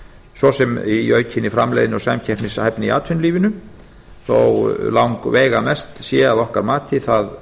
svo sem í aukinni framleiðni og samkeppnishæfni í atvinnulífinu þó langveigamest sé að okkar mati það